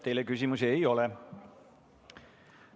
Teile küsimusi ei ole.